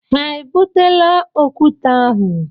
Ha e butela okwute ahụ?